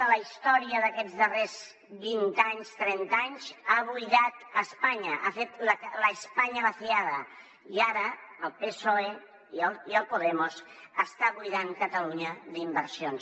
de la història d’aquests darrers vint anys trenta anys ha buidat espanya ha fet la españa vaciada i ara el psoe i podemos estan buidant catalunya d’inversions